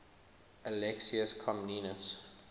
alexius comnenus